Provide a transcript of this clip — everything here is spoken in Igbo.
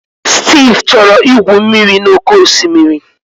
Steve chọrọ igwu mmiri n'oké osimiri.